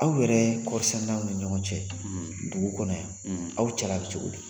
Aw yɛrɛ kɔɔrisɛnɛnaw ni ɲɔgɔn cɛ dugu kɔnɔ yan, aw cɛla bɛ cogo don